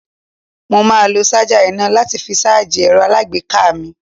Mo máa lo ṣájà iná láti fi ṣáájì ẹ̀rọ alágbèéká mi.